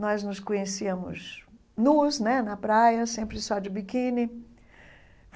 Nós nos conhecíamos nus né, na praia, sempre só de biquíni.